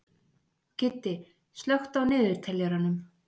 Kiddi, slökktu á niðurteljaranum.